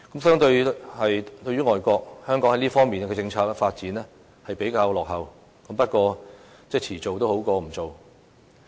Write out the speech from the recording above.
相對外國，香港在這方面的政策發展較為落後，但遲做總比不做好。